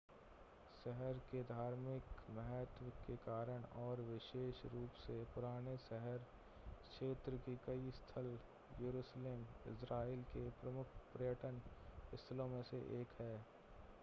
शहर के धार्मिक महत्व के कारण और विशेष रूप से पुराने शहर क्षेत्र के कई स्थल यरूशलेम इज़रायल के प्रमुख पर्यटन स्थलों में से एक है